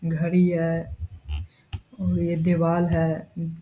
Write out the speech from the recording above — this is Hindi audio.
घड़ी है और ये दीवाल है अम --